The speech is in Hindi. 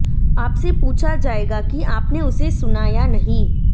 आपसे पूछा जाएगा कि आपने उसे सुना या नहीं